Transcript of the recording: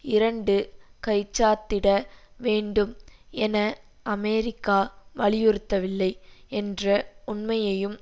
இரண்டு கைச்சாத்திட வேண்டும் என அமெரிக்கா வலியுறுத்தவில்லை என்ற உண்மையையும்